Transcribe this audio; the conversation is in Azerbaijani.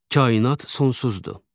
Kainat sonsuzdur.